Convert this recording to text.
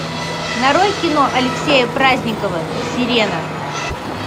нарой кино алексея праздникова сирена